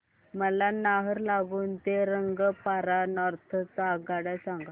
मला नाहरलागुन ते रंगपारा नॉर्थ च्या आगगाड्या सांगा